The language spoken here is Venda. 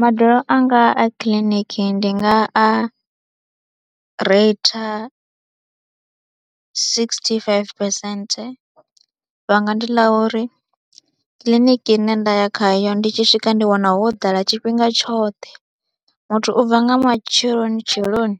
Madalo anga a kiḽiniki ndi nga a reitha sigisithi faifi phesenthe, vhanga ndi ḽa uri kiḽiniki ine nda ya khayo ndi tshi swika ndi wana wo ḓala tshifhinga tshoṱhe, muthu u bva nga matsheloni tsheloni